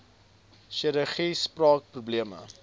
chirurgie spraak probleme